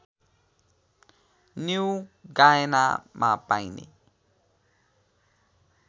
new गायनामा पाइने